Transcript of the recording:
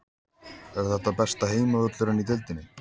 Er þetta besti heimavöllurinn í deildinni?